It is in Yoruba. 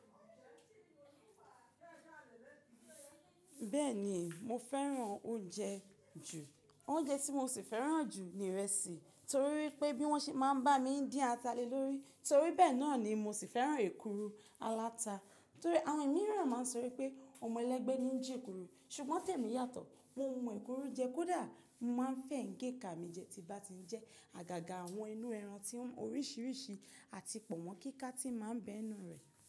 Bẹ́ẹ̀ni mo fẹ́ràn oúnjẹ jù. Oúnjẹ tí mo sì fẹ́ràn jù ni ìrẹsì torí wípé bí wọ́n ṣe máa ń bá mi ń dín ata le lórí, torí bẹ́ẹ̀ náà ni mo sì fẹ́ràn èkuru aláta. Torí àwọn ẹ̀mí ìran máa ń sọ wípé ọmọ ẹlẹ́gbẹ́ ni ń jẹ èkuru ṣùgbọ́n tẹ̀mi yàtọ̀, mo ń ma èkuru jẹ kó dà mo máa ń fẹ̀yìǹ géka mi jẹ tí bá ti jẹ àgàgà àwọn inú ẹran tí ń oríṣìíríṣìí àti pọ̀ mọ́ kíkà tí màá ń bẹ inú rẹ̀.